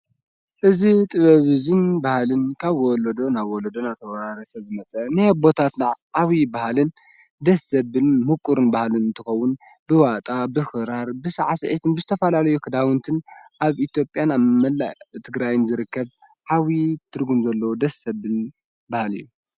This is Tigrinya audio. እዝ ጥበብዝን በሃልን ካብ ወለዶ ናብ ወለዶ ናተዉራርተ ዝመጸ ነየ ኣቦታትናዕ ሓዊ በሃልን ደሰብል ምቁርን በሃልን እንትኸዉን ብዋጣ ብኽራር ብሠዓስኤትን ብስተፋላለየ ኽዳውንትን ኣብ ኢትዮጵያን ኣብ መላእ ትግራይ ዝርከብ ሓብዪ ትርጉን ዘሎ ደሰ ዘብል ባሃሊ እዩ።